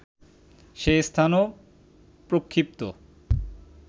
সে স্থানও প্রক্ষিপ্ত